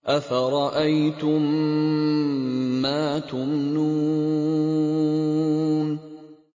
أَفَرَأَيْتُم مَّا تُمْنُونَ